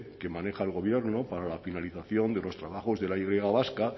que maneja el gobierno para la finalización de los trabajos de la y vasca